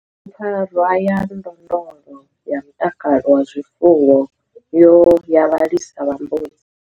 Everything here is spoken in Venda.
Bugu PFARWA YA NDONDOLO YA MUTAKALO WA ZWIFUWO YA VHALISA VHA MBUDZI.